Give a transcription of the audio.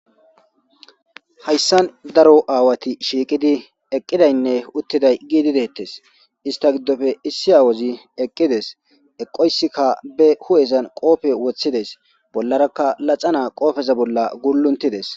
Hayisan daro awati shiqidi eidaynee utiday isita gidope issi wazi eqides eqoyisika ba hupheza qophe woxidies bollara laxanaza qopheza bolla gulutides